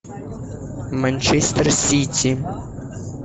манчестер сити